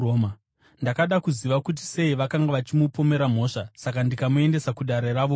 Ndakada kuziva kuti sei vakanga vachimupomera mhosva, saka ndikamuendesa kuDare ravo Guru.